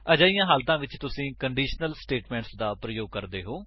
ਅਜਿਹੀ ਹਲਾਤਾਂ ਵਿੱਚ ਤੁਸੀ ਕੰਡੀਸ਼ਨਲ ਸਟੇਟਮੇਂਟਸ ਦਾ ਪ੍ਰਯੋਗ ਕਰ ਸੱਕਦੇ ਹੋ